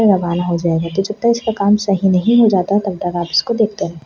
रवाना हो जाएगा डीजीटाइज्ड का काम सही नहीं हो जाता तबतक आप इसको देखते रहें।